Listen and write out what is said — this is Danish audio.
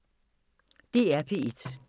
DR P1